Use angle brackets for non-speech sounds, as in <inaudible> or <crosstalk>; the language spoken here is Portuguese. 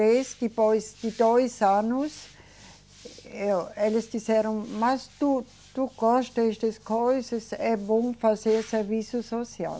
depois de dois anos, eu, eles disseram, mas tu, tu gostas <unintelligible> coisas, é bom fazer serviço social.